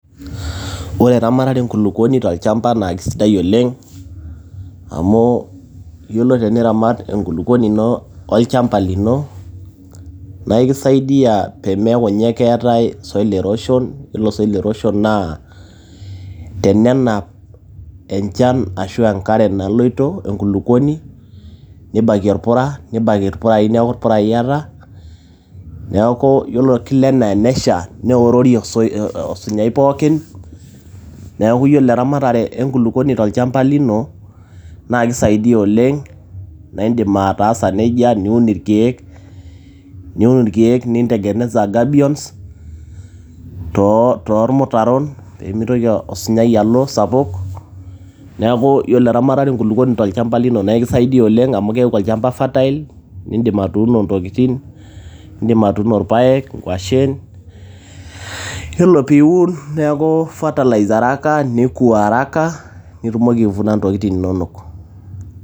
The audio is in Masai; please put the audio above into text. Ore erematare enkulupuoni naa keisidai oleng' amu ore peyie iramat enkulupuoni olchamba lino, naa ekisaidia peyie meaku keetae soil erosion, ore ina naa teneya enchan enaa enkare naloito enkulupuoni neibaki ilpurai, neaku ilpurai eata, neaku anaa enesha, neorori osinyai pooki. Neauku ore eramatare enkulukuoni tolchamba lino naa keisaidia oleng naa indim ataa sa neija niun ilkeek, nintengeneza gabions too ilmutaron pee meitoki osinyai alo sapuk. Neaku ore eramatare oo nkulukuoni tolchamba lino naa ekisaidia amu keaku olchamba fertile nidim atuuno intokiting' indim atuuno ilpaek, inkwashen iyiolo peyie iun neku araka nidim aivuna intokiting' inonok.